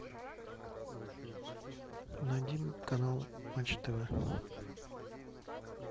найди канал матч тв